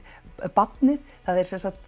barnið það er sem sagt